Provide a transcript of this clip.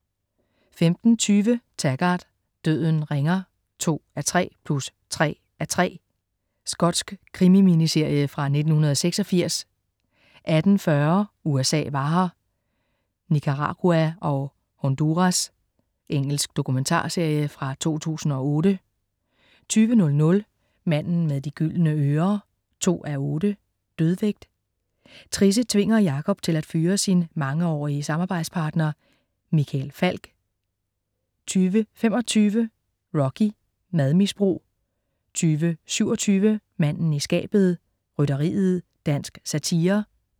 15.20 Taggart: Døden ringer 2:3 + 3:3. Skotsk krimi-miniserie fra 1986 18.40 USA var her. Nicaragua og Honduras. Engelsk dokumentarserie fra 2008 20.00 Manden med de gyldne ører 2:8. Dødvægt. Trisse tvinger Jakob til at fyre sin mangeårige samarbejdspartner "Michael Falch" 20.25 Rocky. Madmisbrug 20.27 Manden i skabet. Rytteriet. Dansk satire